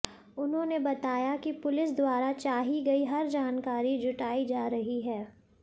उन्होंने बताया कि पुलिस द्वारा चाही गई हर जानकारी जुटाई जा रही है